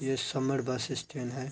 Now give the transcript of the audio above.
ये समर bus stand है।